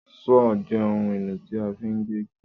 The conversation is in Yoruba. Sọ́ọ́ọ̀ jẹ́ ohun-èlò tí a fi ń gé igi.